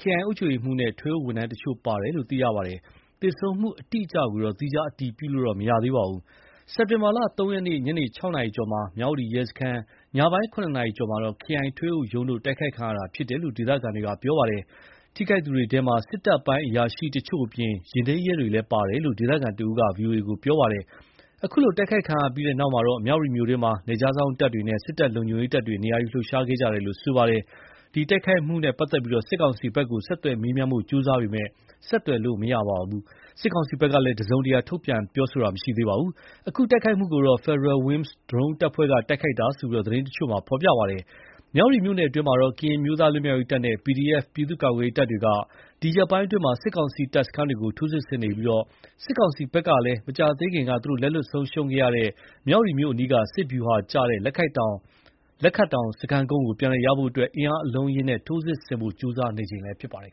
ခရိုင်အုပ်ချုပ်ရေးမှူးနဲ့ ထွေအုပ်ဝန်ထမ်းတချို့ပါဝင်တယ်လို့ ပြောပါတယ်။ သေဆုံးမှုအတိအကျကိုတော့ သီးခြားအတည်ပြုလို့ မရသေးပါဘူး။ စက်တင်ဘာလ ၃ ရက်နေ့ ညနေ ၆ နာရီကျော်မှာ မြ၀တီရဲစခန်း၊ ညပိုင်း ၇ နာရီကျော်မှာ ခရိုင်ထွေအုပ်ရုံးတို့ တိုက်ခိုက်ခံရတာဖြစ်တယ်လို့ ဒေသခံတွေပြောပါတယ်။ ထိခိုက်သူတွေထဲ စစ်တပ်ပိုင်းအရာရှိတချို့အပြင် ယာဉ်ထိမ်းရဲတွေလည်းပါဝင်တယ်လို့ ဒေသခံတဦးက ဗွီအိုအေကို ပြောပါတယ်။ အခုလို တိုက်ခိုက်ခံရပြီးတဲ့နောက်တော့ မြ၀တီမြို့တွင်း နယ်ခြားစောင့်တပ်တွေနဲ့ စစ်တပ်လုံခြုံရေးတပ်တွေ နေရာယူလှုပ်ရှားခဲ့ကြတယ်လို့လည်း ပြောပါတယ်။ ဒီတိုက်ခိုက်ခံရမှုနဲ့ပတ်သက်လို့ စစ်ကောင်စီဘက်ကို ဆက်သွယ်မေးမြန်းဖို့ ကြိုးစားပေမယ့် ဆက်သွယ်လို့မရသလို စစ်ကောင်စီဘက်က တစုံတရာ ထုတ်ပြန်တာလည်းမရှိသေးပါဘူး။ အခု တိုက်ခိုက်မှုကို Federal Wings ဒရုန်းတပ်ဖွဲ့က တိုက်ခိုက်တာလို့ သတင်းတချို့မှာ ဖော်ပြပါတယ်။ မြ၀တီမြို့နယ်အတွင်း ကရင်အမျိုးသားလွတ်မြောက် ရေးတပ်နဲ့ PDF ပြည်သူ့ကာကွယ်ရေးတပ်တွေက ဒီရက်ပိုင်းအတွင်း စစ်ကောင်စီတပ်စခန်းတွေကို ထိုးစစ်ဆင်နေပြီး စစ်ကောင်စီဘက်ကလည်း မကြားသေးခင်က သူတို့လက်လွှတ်ဆုံးရှုံးခဲ့ရတဲ့ မြ၀တီမြို့အနီး စစ်ဗျူဟာကျတဲ့ လက်ခတ်တောင် စခန်းကုန်းကိုပြန်လည်ရရှိဖို့ အင်အားအလုံးအရင်းနဲ့ ထိုးစစ်ဆင်ဖို့ ကြိုးစားနေချိန်လည်းဖြစ်ပါတယ်